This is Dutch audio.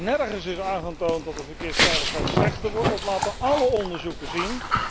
Nergens is aangetoond dat de verkeersveiligheid slechter wordt, dat laten alle onderzoeken zien.